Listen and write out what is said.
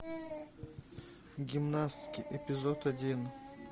гимнастки эпизод один